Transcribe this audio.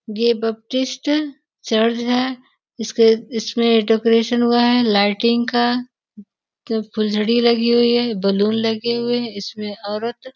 ये चर्च है इसके इसमें डेकोरेशन हुआ है लाइटिंग का फूलझड़ी लगी हुई है बलून लगे हुए है इसमें औरत --